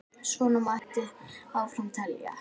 Svona mætti áfram telja.